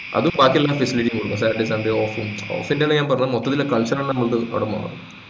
അത് ബാക്കി എല്ലാ facility ഉം കൊടുക്കും saturday sunday off ഉം off ന്റെ അല്ല ഞാൻ പറഞ്ഞെ മൊത്തത്തിലെ കൊണ്ടും അതുമാണ്